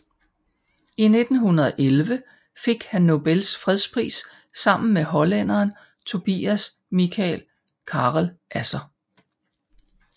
I 1911 fik han Nobels fredspris sammen med hollænderen Tobias Michael Carel Asser